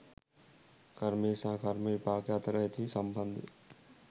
කර්මය සහ කර්ම විපාකය අතර ඇති සම්බන්ධය